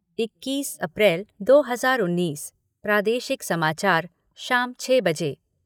इक्कीस अप्रैल दो हज़ार उन्नीस, प्रादेशिक समाचार शाम छः बजे